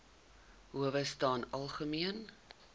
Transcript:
howe staan algemeen